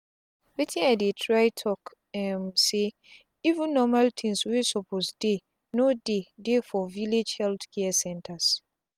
wetin i dey try talk um say even normal things wey suppose deyno dey dey for village health care centers.